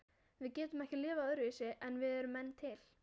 Við getum ekki lifað öðruvísi en við erum menn til.